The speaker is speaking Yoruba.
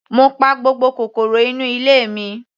Mo pa gbogbo kòkòrò inú ilé mi.